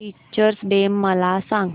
teachers day मला सांग